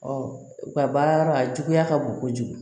u ka baara yɔrɔ a juguya ka bon kojugu